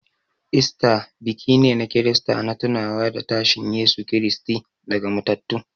Easter biki ne na Kirista na tunawa da tashin Yesu Kiristi daga matattu.